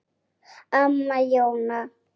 Amma Jóna.